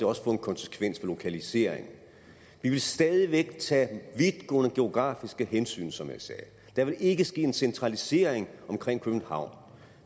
også få en konsekvens for lokaliseringen vi vil stadig væk tage vidtgående geografiske hensyn som jeg sagde der vil ikke ske en centralisering omkring københavn